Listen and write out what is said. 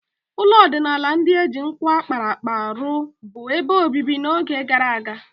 Ụlọ ọdịnala ndị e ji nkwụ a kpara akpa rụ bụ ebe obibi n'oge gara aga.